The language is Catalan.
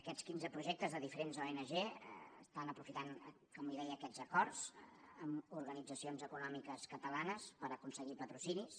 aquests quinze projectes de diferents ong aprofiten com li deia aquests acords amb organitzacions econòmiques catalanes per aconseguir patrocinis